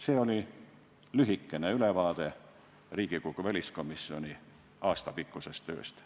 See oli lühike ülevaade Riigikogu väliskomisjoni aastapikkusest tööst.